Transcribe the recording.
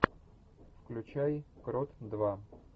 включай крот два